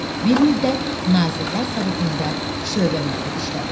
Bir müddət Nazirlər Sovetində şöbə müdiri işlədi.